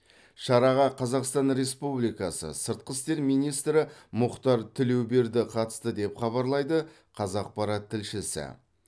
шараға қазақстан республикасы сыртқы істер министрі мұхтар тілеуберді қатысты деп хабарлайды қазақпарат тілшісі